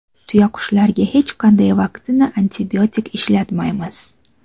Tuyaqushlarga hech qanday vaksina, antibiotik ishlatmaymiz.